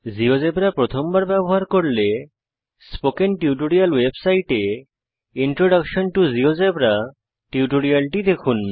GeoGebra প্রথমবার ব্যবহার করলে স্পোকেন টিউটোরিয়াল ওয়েবসাইটে ইন্ট্রোডাকশন টো জিওজেবরা এর টিউটোরিয়াল দেখুন